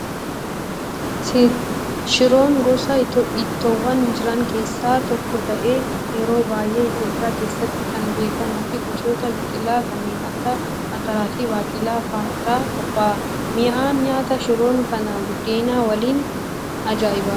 Shiroon gosa ittoowwan jiran keessaa tokko ta'ee yeroo baay'ee Itoophiyaa keessatti kan beekamuu fi gosoota biqilaa kanneen akka ataraa fi baaqelaa fa'aa irraa qophaa'a. Mi'aan nyaata shiroon kanaa buddeena waliin ajaa'ibaa